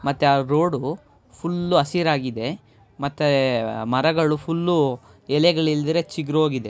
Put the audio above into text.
ಮತ್ತೆ ಆ road full ಹಸಿರಾಗಿದೆ ಮತ್ತೆ ಮರಗಳು ಫುಲ್ಲು ಎಲೆಗಳ್ ಇಲ್ದಿರಾ ಚಿಗ್ರೋಗಿದೆ .